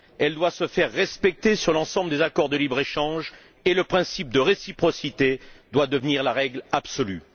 Elle doit se faire respecter sur l'ensemble des accords de libre échange et le principe de réciprocité doit devenir la règle absolue.